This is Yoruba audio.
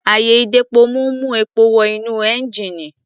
Àyè-ìdepomú ń mú epo wọ inú ẹ́ńjíìnì.